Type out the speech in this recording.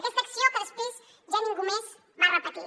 aquesta acció que després ja ningú més va repetir